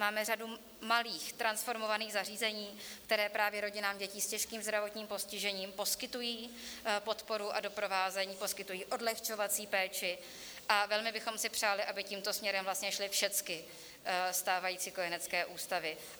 Máme řadu malých transformovaných zařízení, která právě rodinám dětí s těžkým zdravotním postižením poskytují podporu a doprovázení, poskytují odlehčovací péči, a velmi bychom si přáli, aby tímto směrem vlastně šly všechny stávající kojenecké ústavy.